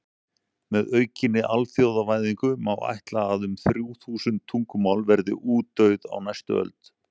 Með aukinni alþjóðavæðingu má ætla að um þrjú þúsund tungumál verði útdauð á næstu öld.